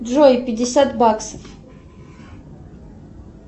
джой пятьдесят баксов